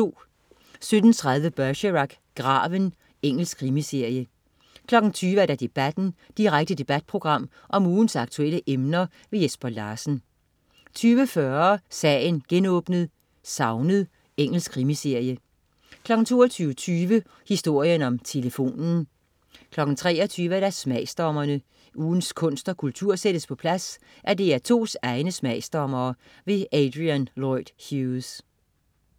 17.30 Bergerac: Graven. Engelsk krimiserie 20.00 Debatten. Direkte debatprogram om ugens aktuelle emner. Jesper Larsen 20.40 Sagen genåbnet: Savnet. Engelsk krimiserie 22.20 Historien om telefonen 23.00 Smagsdommerne. Ugens kunst og kultur sættes på plads af DR2's egne smagsdommere. Adrian Lloyd Hughes